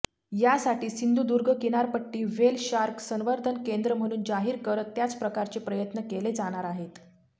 यासाठी सिंधुदुर्ग किनारपट्टी whale shark संवर्धन केंद्र म्हणून जाहीर करत त्याप्रकारचे प्रयत्न केले जाणार आहेत